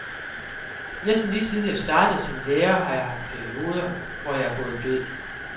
Næsten lige siden jeg startede som lærer har jeg haft perioder, hvor jeg er gået død.